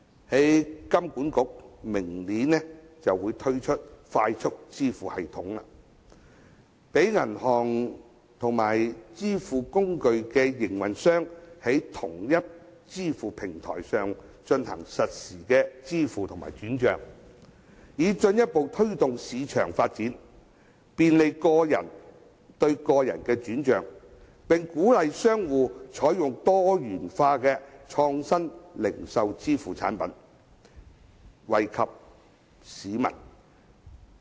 香港金融管理局計劃明年推出快速支付系統，讓銀行和支付工具營運商在同一支付平台上進行實時支付和轉帳，以進一步推動市場發展，便利個人對個人的轉帳，並鼓勵商戶採用多元化的創新零售支付產品，惠及市民。